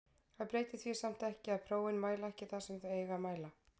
Það breytir því samt ekki að prófin mæla ekki það sem þau eiga að mæla.